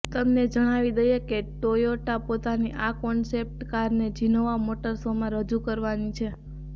તમને જણાવી દઇએ કે ટોયોટા પોતાની આ કોન્સેપ્ટ કારને જીનેવા મોટર શોમાં રજૂ કરવાની છે